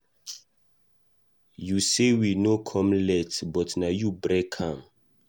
You say we no come late but na you break am.